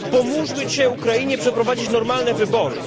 Pomóżmy Ukrainie przeprowadzić normalne wybory.